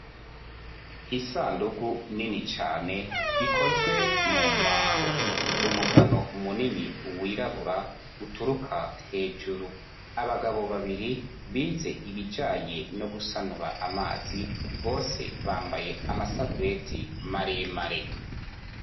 Isandugu nini cane, ikozwe mu mbaho. Umugano munini wirabura uturuka hejuru. Abagabo babiri bize ibijanye no gusanura amazi, bose bambaye amasarubeti maremare.